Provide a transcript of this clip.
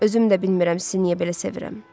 Özüm də bilmirəm sizi niyə belə sevirəm.